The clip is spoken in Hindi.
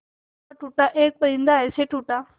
टूटा टूटा एक परिंदा ऐसे टूटा